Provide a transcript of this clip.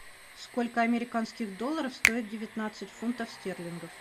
сколько американских долларов стоит девятнадцать фунтов стерлингов